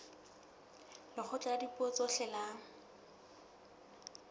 lekgotla la dipuo tsohle la